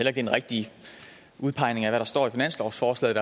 er en rigtig udpegning af hvad der står i finanslovsforslaget